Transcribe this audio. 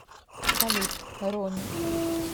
салют ронни